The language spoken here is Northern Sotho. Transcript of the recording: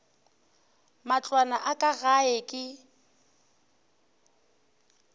matlwana a ka gae ke